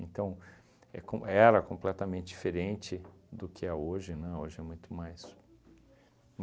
é com era completamente diferente do que é hoje, né, hoje é muito mais.